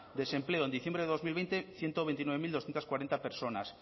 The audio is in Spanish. desempleo en diciembre de dos mil veinte ciento veintinueve mil doscientos cuarenta personas